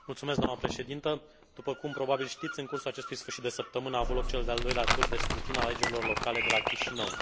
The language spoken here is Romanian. După cum probabil știți, în cursul acestui sfârșit de săptămână a avut loc cel de al doilea tur de scrutin al alegerilor locale de la Chișinău, în Republica Moldova.